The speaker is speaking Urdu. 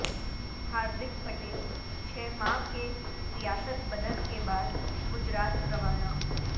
ہاردک پٹیل چھ ماہ کے ریاست بدر کے بعد گجرات روانہ